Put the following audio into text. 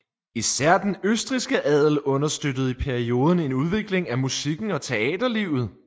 Især den østrigske adel understøttede i perioden en udvikling af musikken og teaterlivet